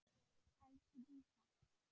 Elsku Dísa.